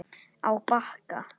Á Bakka